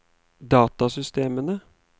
datasystemene